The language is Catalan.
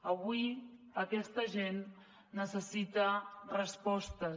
avui aquesta gent necessita respostes